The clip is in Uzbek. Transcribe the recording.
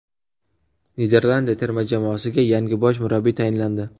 Niderlandiya terma jamoasiga yangi bosh murabbiy tayinlandi.